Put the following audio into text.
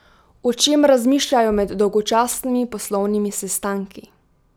O čem razmišljajo med dolgočasnimi poslovnimi sestanki ?